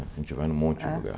A gente vai num monte É De lugar.